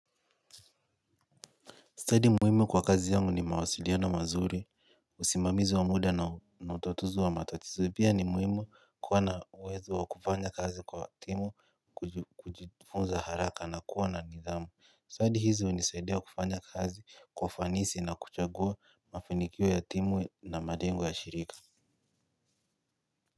Study muhimu kwa kazi yangu ni mawasiliano mazuri. Usimamizi wa muda na utatuzi wa matatizo pia ni muhimu kuwa na uwezo wa kufanya kazi kwa timu kujifunza haraka na kuwa na nidhamu Study hizi hunisaidia kufanya kazi kwa ufanisi na kuchagua mafanikio ya timu na malengo ya shirika.